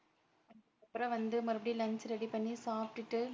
அப்புறம் வந்து மறுபடியும் lunch ready பண்ணி சாப்டுட்டு